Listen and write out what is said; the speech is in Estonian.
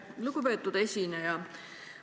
Lugupeetud esineja!